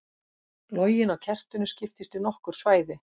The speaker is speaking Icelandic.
Loginn á kertinu skiptist í nokkur svæði.